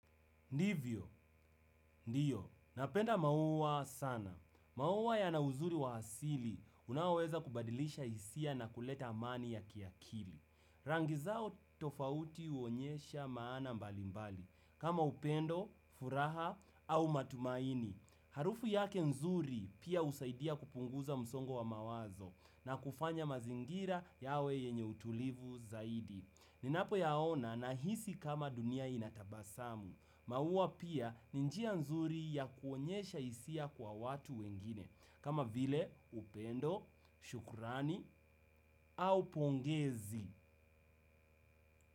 Ndivyo, ndiyo, napenda maua sana. Mauwa yana uzuri wa asili, unaoweza kubadilisha hisia na kuleta amani ya kiakili. Rangi zao tofauti huonyesha maana mbali mbali kama upendo, furaha au matumaini. Harufu yake nzuri pia husaidia kupunguza msongo wa mawazo na kufanya mazingira yawe yenye utulivu zaidi. Ninapo yaona, nahisi kama dunia inatabasamu. Maua pia ni njia nzuri ya kuonyesha hisia kwa watu wengine, kama vile upendo, shukrani au pongezi.